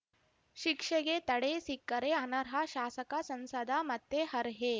ಶಿಕ್ಷೆಗೆ ತಡೆ ಸಿಕ್ಕರೆ ಅನರ್ಹ ಶಾಸಕಸಂಸದ ಮತ್ತೆ ಅರ್ಹೆ